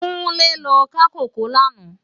Kunle lò ká kókòó làná